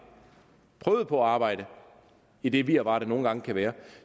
prøvede på at arbejde i det virvar der nogle gange kan være